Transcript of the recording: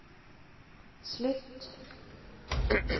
slutt